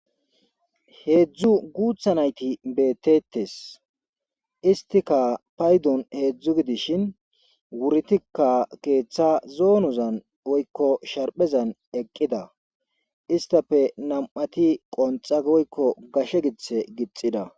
heedzdzu guutha nayti beetettes istika paydon heedzdzu gidishin wurtikka keeththa zoonuzan oykko sharphezan eqqida istafe nam7ati qonxaoykko gashe githe gixida